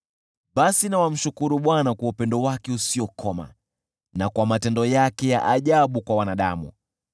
Basi na wamshukuru Bwana kwa upendo wake usiokoma, na kwa matendo yake ya ajabu kwa wanadamu.